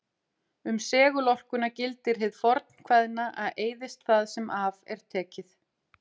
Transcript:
Um segulorkuna gildir hið fornkveðna að eyðist það sem af er tekið.